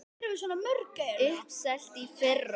Uppselt í fyrra!